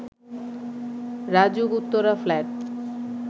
RAJUK Uttara flat